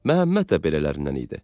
Məhəmməd də belələrindən idi.